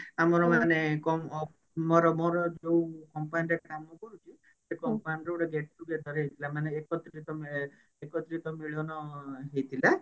ଆମର ମାନେ କ ମୋର ମୋର ଯୋଉ company ରେ କାମ କରୁଛି ସେ company ର ଗୋଟେ gate together ହେଇଥିଲା ମାନେ ଏକତ୍ରିତ ଇଏ ଏକତ୍ରିତ ମିଳନ ହେଇଥିଲା